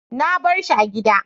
Na bari shi a gida.